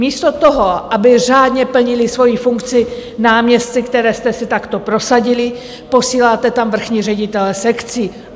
Místo toho, aby řádně plnili svoji funkci náměstci, které jste si takto prosadili, posíláte tam vrchní ředitele sekcí.